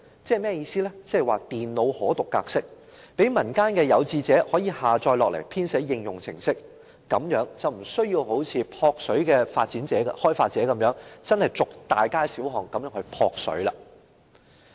即是"電腦可讀格式"，讓民間有志者可以下載資料來編寫應用程式，這樣便無需一如"撲水"的開發者一樣，真正走遍大街小巷"撲水"。